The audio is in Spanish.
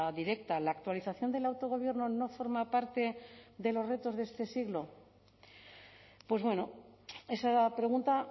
directa la actualización del autogobierno no forma parte de los retos de este siglo pues bueno esa pregunta